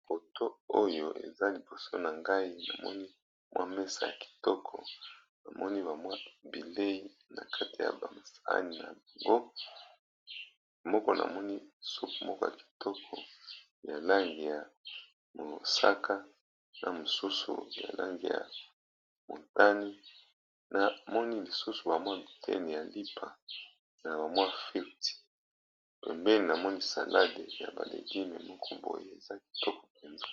Awa ezali bongo na restaurant balakisi biso sani eza na sauce blanche na nyama na kati. Pembeni ya elenge mobali afandi, ezali sani ba tiye salade, lipa ba frite na sauce ya kechup na bakuli moke ya pembe.